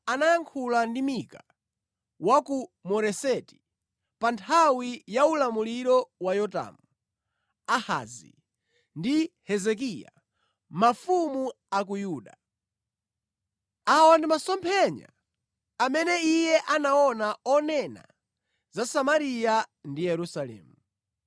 Yehova anayankhula ndi Mika wa ku Moreseti pa nthawi ya ulamuliro wa Yotamu, Ahazi ndi Hezekiya, mafumu a ku Yuda. Awa ndi masomphenya amene iye anaona onena za Samariya ndi Yerusalemu.